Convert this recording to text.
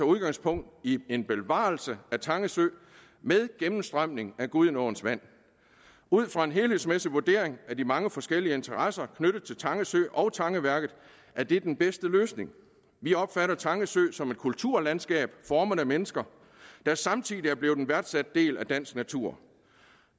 udgangspunkt i en bevarelse af tange sø med gennemstrømning af gudenåens vand ud fra en helhedsmæssig vurdering af de mange forskellige interesser knyttet til tange sø og tangeværket er det den bedste løsning vi opfatter tange sø som et kulturlandskab formet af mennesker der samtidig er blevet en værdsat del af dansk natur